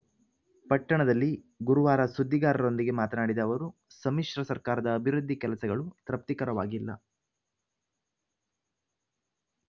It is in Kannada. ಪಟ್ಟಣದಲ್ಲಿ ಗುರುವಾರ ಸುದ್ದಿಗಾರರೊಂದಿಗೆ ಮಾತನಾಡಿದ ಅವರು ಸಮ್ಮಿಶ್ರ ಸರ್ಕಾರದ ಅಭಿವೃದ್ಧಿ ಕೆಲಸಗಳು ತೃಪ್ತಿಕರವಾಗಿಲ್ಲ